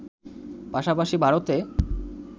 পাশাপাশি ভারতে